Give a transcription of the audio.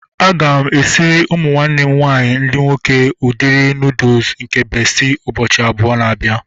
Aga m esiri ụmụ nwanne m nwaanyị ndị nwoke udiri nuudu nke bestị ụbọchị abụọ na-abịa